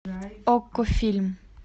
окко фильм